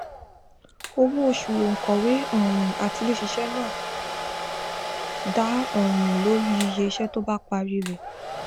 owó oṣù òǹkọwé um àtiléṣiṣẹ náà dá um lórí iye iṣẹ tó bá parí rẹ